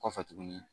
Kɔfɛ tuguni